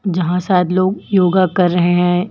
जहां शायद लोग योगा कर रहे हैं।